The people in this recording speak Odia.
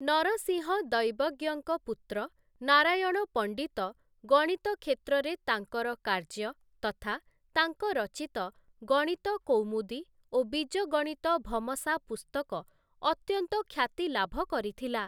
ନରସିଂହ ଦୈବଜ୍ଞଙ୍କ ପୁତ୍ର ନାରାୟଣ ପଣ୍ଡିତ ଗଣିତ କ୍ଷେତ୍ରରେ ତାଙ୍କର କାର୍ଯ୍ୟ ତଥା ତାଙ୍କ ରଚିତ ଗଣିତ କୌମୁଦୀ ଓ ବୀଜଗଣିତଭମସା ପୁସ୍ତକ ଅତ୍ୟନ୍ତ ଖ୍ୟାତି ଲାଭ କରିଥିଲା ।